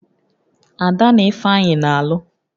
Ada na Ifeanyị na-alụ